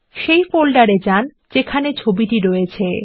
এখন সেই ফোল্ডারে যান যেখানে ছবিটি রয়েছে